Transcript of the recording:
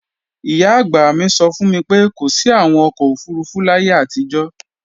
Ìyá-àgbà mi sọ fún mi pé kò sí àwọn ọkọ̀ òfurufú láyé àtijọ́